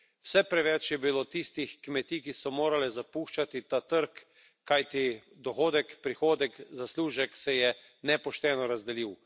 Vse preveč je bilo tistih kmetij, ki so morale zapuščati ta trg, kajti dohodek, prihodek, zaslužek se je nepošteno razdelil.